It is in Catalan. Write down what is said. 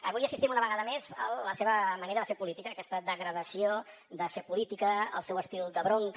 avui assistim una vegada més a la seva manera de fer política aquesta degradació de fer política el seu estil de bronca